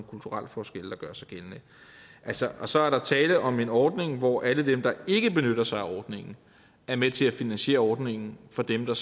kulturelle forskelle der gør sig gældende og så er der tale om en ordning hvor alle dem der ikke benytter sig af ordningen er med til at finansiere ordningen for dem der